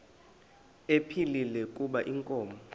ephilile kuba inkomo